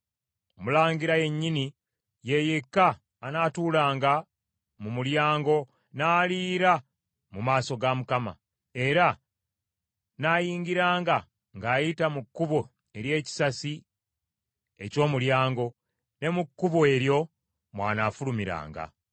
Omulangira yennyini, ye yekka anaatulanga mu mulyango n’aliira mu maaso ga Mukama , era nnaayingiranga ng’ayita mu kkubo ery’ekisasi eky’omulyango, ne mu kkubo eryo mw’anaafulumiranga.”